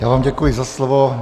Já vám děkuji za slovo.